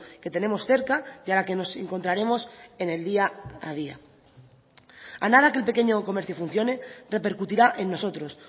que tenemos cerca y a la que nos encontraremos en el día a día a nada que el pequeño comercio funcione repercutirá en nosotros